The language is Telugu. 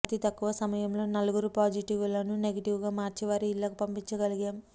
అతి తక్కువ సమయంలోనే నలుగురు పాజిటివ్లను నెగెటివ్గా మార్చి వారి ఇళ్లకు పంపించగలిగాం